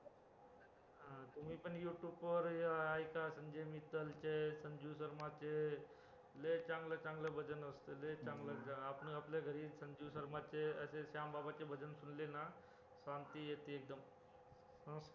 तुम्ही पण youtube वर ऐका संजय मित्तल चे संजू शर्माचे लय चांगलं चांगलं भजन असत लय चांगलं असत आपण आपल्या घरी संजू शर्माचे अशे श्यामबाबाचे भजन सुनेला ना शांती येते एकदम